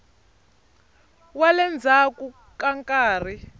wa le ndzhaku ka nkarhi